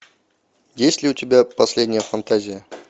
есть ли у тебя последняя фантазия